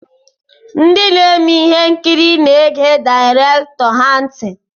Ndị na-eme ihe nkiri na-ege direktọr ha ntị.